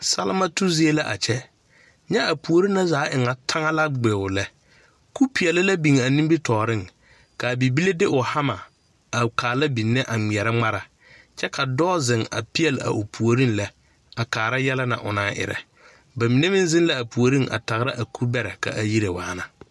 Salma tu zie la a kyɛ nyɛ a puori na zaa e ŋa tag na gbio lɛ kupeɛle la biŋ a nimitɔɔriŋ ka bibile de o hama a kaala benne a ŋmeɛrɛ ŋmara kyɛ ka dɔɔ ziŋ peɛle o puoriŋ a lɛ a kaara yɛlɛ na o naŋ erɛ ba mine meŋ ziŋ la puoriŋ a kaara a kubɛrɛ ka a yire waana.